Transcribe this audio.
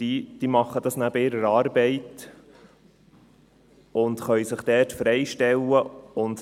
Dies machen sie neben ihrer Arbeit, und sie können sich dort freistellen lassen.